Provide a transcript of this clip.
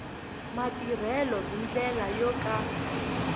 matirhelo hi ndlela yo ka